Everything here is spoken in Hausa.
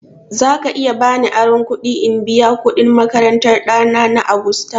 Za ka iya ba ni aron kuɗi in biya kuɗin makarantan ɗana na Agusta?